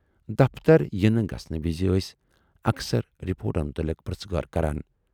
دفتر یِنہٕ گژھنہٕ وِزِ ٲسۍ اکثر رِپوٹن مُتلِق پرژھٕ گٲر کران۔